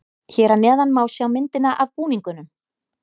Hér að neðan má sjá myndina af búningunum.